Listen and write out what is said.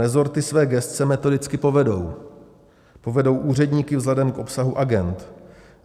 Resorty své gesce metodicky povedou, povedou úředníky vzhledem k obsahu agend.